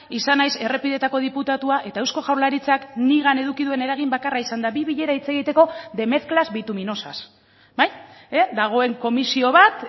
izan naiz errepideetako diputatua eta eusko jaurlaritzak nigan eduki duen eragin bakarra izan da bi bilera hitz egiteko de mezclas bituminosas dagoen komisio bat